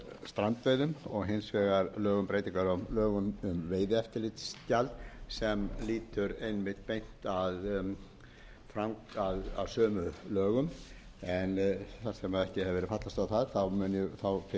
strandveiðum og hins vegar lög um breytingar á lögum um veiðieftirlitsgjald sem lýtur einmitt beint að sömu lögum en þar sem ekki hefur verið fallist á það mun ég fyrst